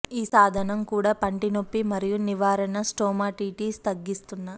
ఈ సాధనం కూడా పంటి నొప్పి మరియు నివారణ స్టోమాటిటీస్ తగ్గిస్తున్న